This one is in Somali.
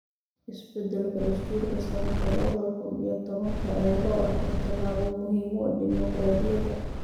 Isbeddelka dastuurka sanadka labada kun iyo tobanka ayaa loo arkay tallaabo muhiim u ah dimuqraadiyadda.